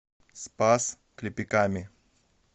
спас клепиками